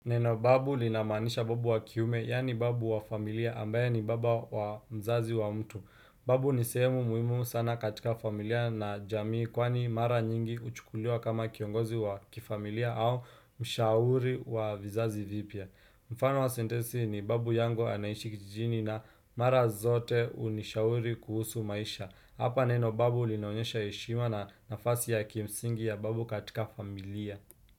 Neno babu linamaanisha babu wa kiume, yani babu wa familia ambaye ni baba wa mzazi wa mtu. Babu nisehemu muhimu sana katika familia na jamii kwani mara nyingi huchukuliwa kama kiongozi wa kifamilia au mshauri wa vizazi vipya. Mfano wa sentensi ni babu yangu anaishi kijijini na mara zote unishauri kuhusu maisha. Hapa neno babu linaonyesha heshima na nafasi ya kimsingi ya babu katika familia.